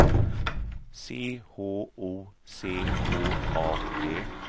C H O C K A D